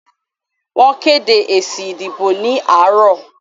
Wọ́n kédé èsì ìdìbò ní àárọ̀.